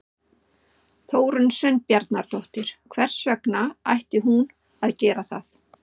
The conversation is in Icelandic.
Þórunn Sveinbjarnardóttir: Hvers vegna ætti hún að gera það?